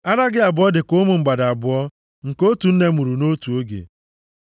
Ara gị abụọ dị ka ụmụ mgbada abụọ nke otu nne mụrụ nʼotu oge.